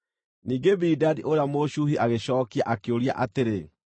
Ningĩ Bilidadi ũrĩa Mũshuhi agĩcookia, akĩũria atĩrĩ: